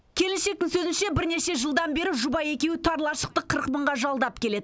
келіншектің сөзінше бірнеше жылдан бері жұбайы екеуі тар лашықты қырық мыңға жалдап келеді